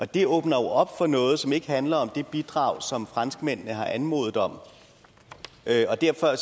det åbner jo op for noget som ikke handler om det bidrag som franskmændene har anmodet om og derfor er